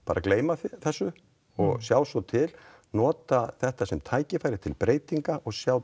gleyma þessu og sjá svo til nota þetta sem tækifæri til breytinga og sjá